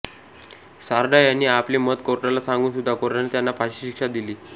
सारडा यांनी आपले मत कोर्टला सांगून सुद्धा कोर्टाने त्यांना फाशीची शिक्षा दिली